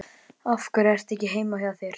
Af hverju ertu ekki heima hjá þér?